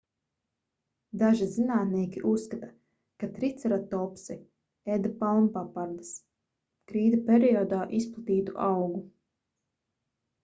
daži zinātnieki uzskata ka triceratopsi ēda palmpapardes krīta periodā izplatītu augu